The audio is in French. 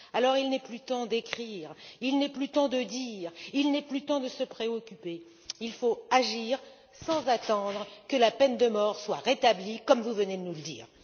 Alors, il n'est plus temps d'écrire, il n'est plus temps de dire, il n'est plus temps de se préoccuper, il faut agir sans attendre que la peine de mort soit rétablie, comme vous venez de nous le dire.